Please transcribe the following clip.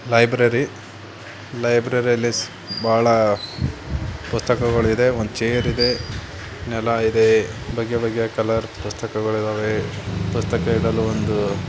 Library ಲೈಬ್ರೇರಿಯಲ್ಲಿ ಬಹಳ ಪುಸ್ತಕಗಳು ಇದೆ ಒಂದ್ ಚೇರ್ ಇದೆ ನೆಲ ಇದೆ ಬಗ್ಗೆ ಬಗ್ಗೆ ಕಲರ್ ಪುಸ್ತಕಗಳು ಇದೆ ಪುಸ್ತಕಗಳು ಇಡಲು.